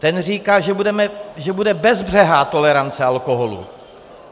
Ten říká, že bude bezbřehá tolerance alkoholu.